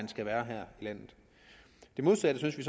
skal være her i landet det modsatte synes vi